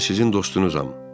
Mən sizin dostunuzam.